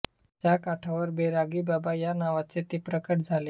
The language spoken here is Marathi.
च्या काठावर बैरागी बाबा या नावाने ते प्रकट झाले